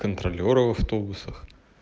контролёры в автобусах